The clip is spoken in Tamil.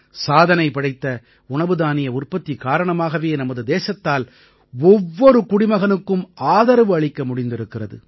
சாதனை படைத்த உணவுதானிய உற்பத்தி காரணமாகவே நமது தேசத்தால் ஒவ்வொரு குடிமகனுக்கும் ஆதரவு அளிக்க முடிந்திருக்கிறது